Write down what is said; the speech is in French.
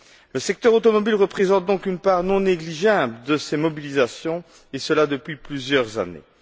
Le secteur automobile représente donc une part non négligeable de ces mobilisations, et ce depuis plusieurs années.